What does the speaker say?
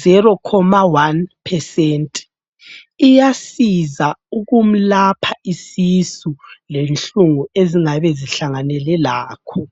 0,1%, iyasiza ukumlapha isisu lenhlungu ezingabe kuhlanganele lakho.